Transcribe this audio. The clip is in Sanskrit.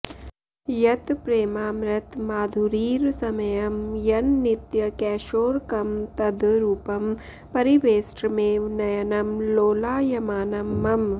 यत् प्रेमामृतमाधुरीरसमयं यन् नित्यकैशोरकं तद् रूपं परिवेष्ट्रमेव नयनं लोलायमानं मम